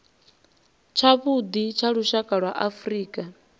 tshavhuḓi tsha lushaka lwa afrika